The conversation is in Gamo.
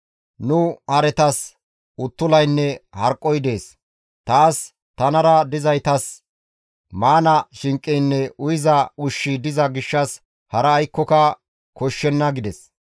Nu haretas uttulaynne harqqoy dees; taas, tanara dizaytas maana shinqeynne uyiza ushshi diza gishshas hara aykkoka koshshenna» gides.